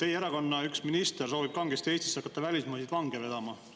Teie erakonna üks minister kangesti soovib Eestisse hakata välismaiseid vange vedama.